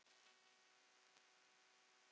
Önnur dýr